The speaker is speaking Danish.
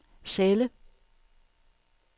celle